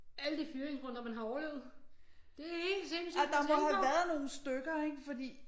Alle de fyringsrunder man har overlevet det er helt sindssygt at tænke på